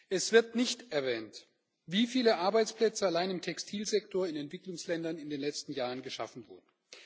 Es wird nicht erwähnt, wie viele Arbeitsplätze allein im Textilsektor in Entwicklungsländern in den letzten Jahren geschaffen wurden.